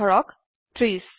ধৰক 30